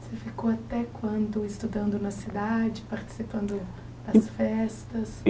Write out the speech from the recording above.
Você ficou até quando estudando na cidade, participando das festas?